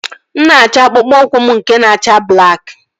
Mụ na-achọ akpụkpọ ụkwụ m nke na-acha blakị